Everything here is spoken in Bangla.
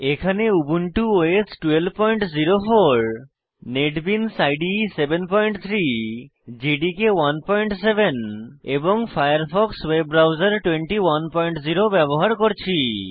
এখানে Ubuntu OS 1204 NetBeans IDE 73 JDK 17 এবং ফায়ারফক্স ওয়েব ব্রাউজার 210 ব্যবহার করছি